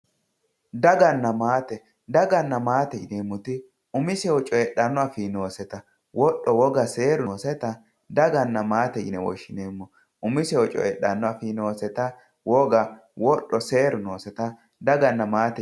daganna maate daganna maate yineemmoti umisehu coyiidhanno afii nooseta wodho woga seeru nooseta daganna maate yine woshshineemmo umisehu coyiidhanno afii nooseta woga wodho seeru nooseta daganna maate yineemmo